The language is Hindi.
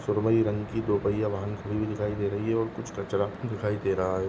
सुरमयी रंग की दो पहिया की वाहन दिखाई दे रही है और कुछ कचरा दिखाई दे रहे है।